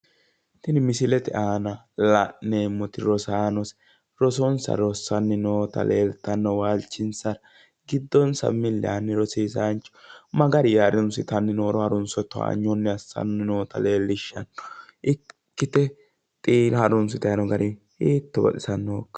Tini misilete aana la'neemmoti rosaano rosonsa rossanni noota leeltanno. Giddonsa milli yaanni rosiisaanchu ma garinni harunsitayi nooro harunso towanyo assanni noota leellishshanno. Ikkite harunsitayi noo gari hiitto baxisanno!